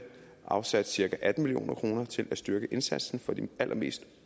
afsat cirka atten million kroner til at styrke indsatsen for de allermest